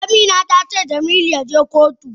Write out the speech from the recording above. Amina tace Jamilu yaje kotu.